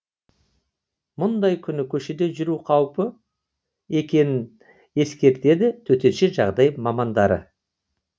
мұндай күні көшеде жүру қауіпті екенін ескертеді төтенше жағдай мамандары